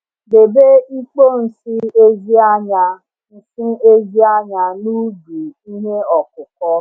Debe ikpo nsị ezi anya nsị ezi anya na ubi ihe ọkụkụ.